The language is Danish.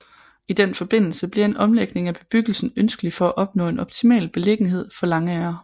I den forbindelse bliver en omlægning af bebyggelsen ønskelig for at opnå en optimal beliggenhed for langagre